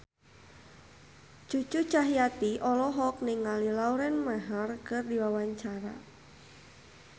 Cucu Cahyati olohok ningali Lauren Maher keur diwawancara